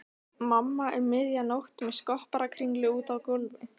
Mamma um miðja nótt með skopparakringlu úti á gólfi.